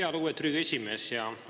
Jaa, lugupeetud Riigikogu esimees!